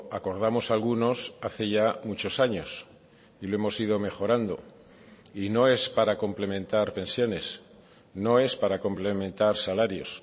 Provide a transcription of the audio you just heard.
acordamos algunos hace ya muchos años y lo hemos ido mejorando y no es para complementar pensiones no es para complementar salarios